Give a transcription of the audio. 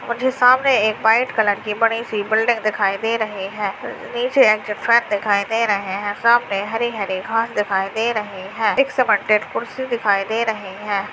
और जो सामने एक व्हाइट कलर की बड़ी-सी बिल्डिंग दिखाई दे रही है| नीचे एग्जिट कार्ड दिखाई दे रहे हैं| सामने हरी-हरी घास दिखाई दे रही है| एक सीमेंटेड कुर्सी दिखाई दे रही है।